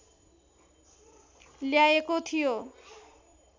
ल्याएको थियो